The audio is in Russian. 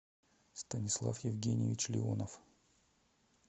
станислав евгеньевич леонов